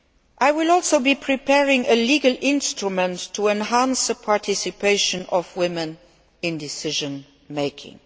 I will also be preparing a legal instrument to enhance the participation of women in decision making.